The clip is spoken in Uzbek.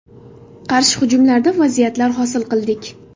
Qarshi hujumlarda vaziyatlar hosil qildik.